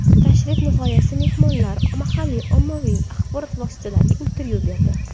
Tashrif nihoyasida mehmonlar mahalliy ommaviy axborot vositalariga intervyu berdi.